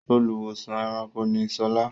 Olùwósàn-ẹranko ni Sola.